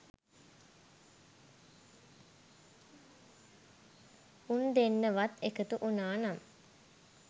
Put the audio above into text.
උන් දෙන්න වත් එකතු වුණා නම්